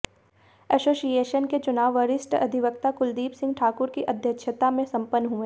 association के चुनाव वरिष्ठ अधिवक्ता कुलदीप सिंह ठाकुर की अध्यक्षता में संपन्न हुए